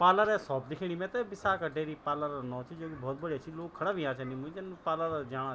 पार्लरे शोप देखेंणी मैथे विशाखा डेरी पार्लरो नौ च जु कि भौत बडिया च लोग खडा हुंया छिन इम्मा जन पार्लरल जाण।